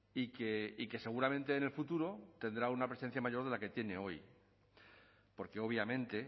y que seguramente en el futuro tendrá una presencia mayor de la que tiene hoy porque obviamente